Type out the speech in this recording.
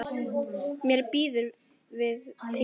Mér býður við þér.